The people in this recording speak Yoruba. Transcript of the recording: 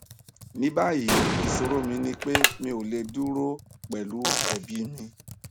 ní báyìí ìṣòro mi ni pé mi ò lè dúró pẹlú ẹbí mi